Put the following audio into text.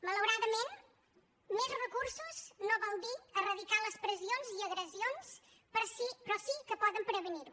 malauradament més recursos no vol dir eradicar les pressions i agressions però sí que poden prevenir les